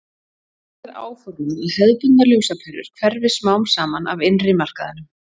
þannig er áformað að hefðbundnar ljósaperur hverfi smám saman af innri markaðinum